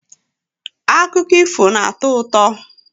Akụkọ ifo na-atọ ụtọ.